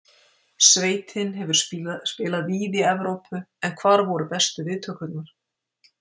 Sveitin hefur spilað víða í Evrópu, en hvar voru bestu viðtökurnar?